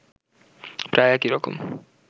প্রায় একই রকম